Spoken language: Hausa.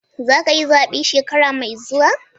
Za ka yi zabe shekara mai zuwa?